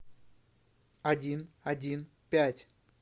один один пять